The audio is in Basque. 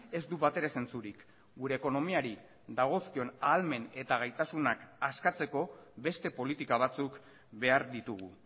ez du batere sentsurik gure ekonomiari dagozkion ahalmen eta gaitasunak askatzeko beste politika batzuk behar ditugu